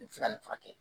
furakɛ